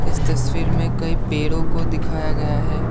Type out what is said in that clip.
इस तस्वीर में कई पेड़ों को दिखाया गया है।